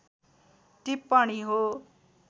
टिप्पणी हो